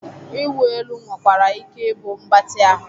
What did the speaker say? Ịwụ elu nwekwara ike ịbụ mgbatị ahụ